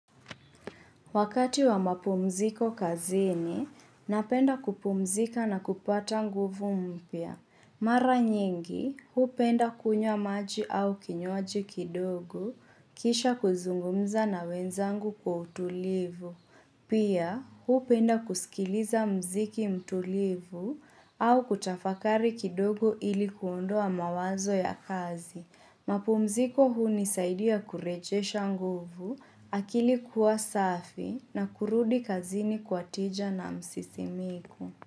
Wakati wa mapumziko kazini, napenda kupumzika na kupata nguvu mpya. Mara nyingi, hupenda kunywa maji au kinywaji kidogo, kisha kuzungumza na wenzangu kwa utulivu. Pia, hupenda kusikiliza mziki mtulivu au kutafakari kidogo ili kuondoa mawazo ya kazi. Mapumziko hunisaidia kurejesha nguvu, akili kuwa safi na kurudi kazini kwa tija na msisimiko.